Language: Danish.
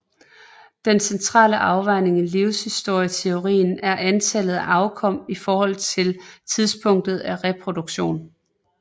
Den centrale afvejning i livshistorieteorien er antallet af afkom i forhold til tidspunktet af reproduktion